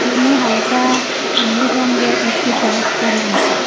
ইনি হালকা নীল রঙ্গের একটি শার্ট পড়ে আসেন ।